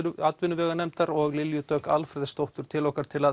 atvinnuveganefndar og Lilju Dögg Alfreðsdóttur til okkar til